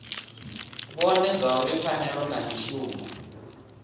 vhone zwauri pfanelo na mishumo